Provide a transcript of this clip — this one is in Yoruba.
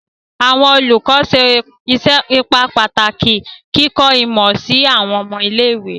Awọn olùkọ ṣe ipa pataki ni kikọ imọ si awọn ọmọ ile-iwe